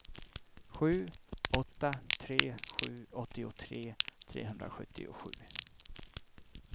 sju åtta tre sju åttiotre trehundrasjuttiosju